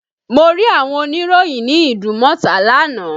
Mo rí àwọn oníròyìn ní Idumota lánàá